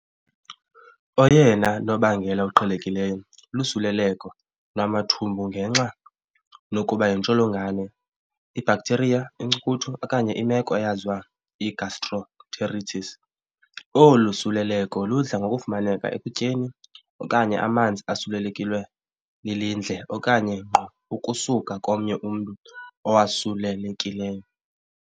Oyena nobangela uqhelekileyo lusuleleko lwamathumbungenxa nokuba yintsholongwane, ibacteria, inkcukuthu, okanye imeko eyaziwa i-gastroenteritis. Olu suleleleko ludla ngokufumaneka ekutyeni okanye amanzi asulelekilwe lilindle, okanye ngqo ukusuka komnye umntu owasulelekileyo.